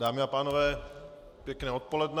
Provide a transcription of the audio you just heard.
Dámy a pánové, pěkné odpoledne.